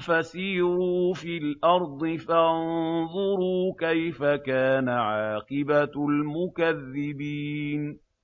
فَسِيرُوا فِي الْأَرْضِ فَانظُرُوا كَيْفَ كَانَ عَاقِبَةُ الْمُكَذِّبِينَ